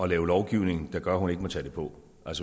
lave lovgivning der gør at hun ikke må tage det på